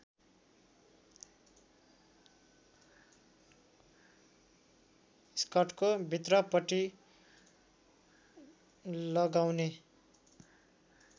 स्कर्टको भित्रपट्टि लगाउने